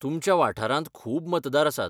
तुमच्या वाठारांत खूब मतदार आसात.